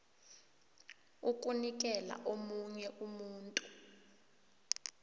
ukunikela omunye umuntu